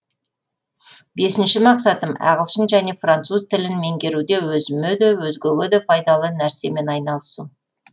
бесінші мақсатым ағылшын және француз тілін меңгеруде өзіме де өзгеге де пайдалы нәрсемен айналысу